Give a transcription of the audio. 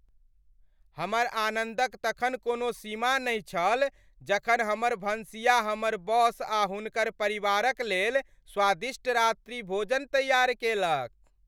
हमर आनन्दक तखन कोनो सीमा नहि छल जखन हमर भनसिया हमर बॉस आ हुनकर परिवारक लेल स्वादिष्ट रात्रिभोज तैयार केलक।